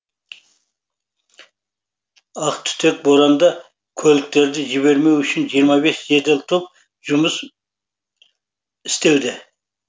ақтүтек боранда көліктерді жібермеу үшін жиырма бес жедел топ жұмыс істеуде